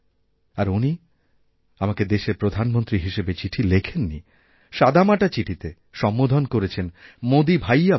আর উনি আমাকে দেশের প্রধানমন্ত্রী হিসেবে চিঠি লেখেননি সাদামাটাচিঠিতে সম্বোধন করেছেন মোদীভাইয়া বলে